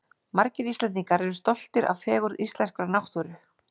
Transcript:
Margir Íslendingar eru stoltir af fegurð íslenskrar náttúru.